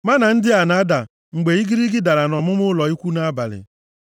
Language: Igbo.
Mánà ndị a na-ada mgbe igirigi dara nʼọmụma ụlọ ikwu nʼabalị.